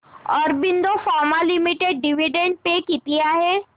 Aurobindo Pharma Limited dividend pay किती आहे